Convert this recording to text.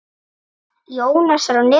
Verk Jónasar á netinu